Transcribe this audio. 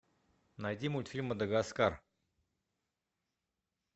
найди мультфильм мадагаскар